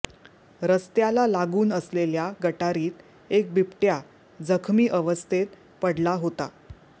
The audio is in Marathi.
रस्त्याला लागून असलेल्या गटारीत एक बिबट्या जखमी अवस्थेत पडला होता